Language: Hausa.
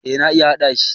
Eh na iya hada shi.